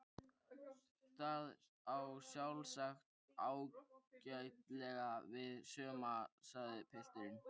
Það á sjálfsagt ágætlega við suma sagði pilturinn.